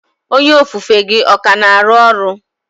Onye ofufe gị ọ ka na-arụ ọrụ?